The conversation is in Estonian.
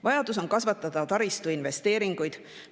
Vaja on kasvatada taristuinvesteeringuid.